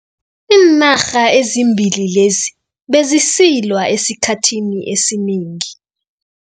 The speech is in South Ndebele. Iinarha ezimbili lezi bezisilwa esikhathini esinengi.